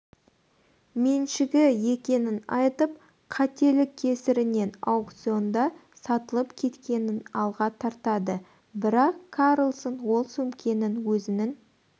меншігі екенін айтып қателік кесірінен аукционда сатылып кеткенін алға тартады бірақ карлсон ол сөмкенің өзінің